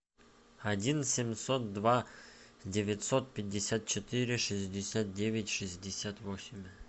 один семьсот два девятьсот пятьдесят четыре шестьдесят девять шестьдесят восемь